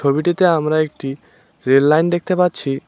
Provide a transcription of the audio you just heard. ছবিটিতে আমরা একটি রেল লাইন দেখতে পাচ্ছি।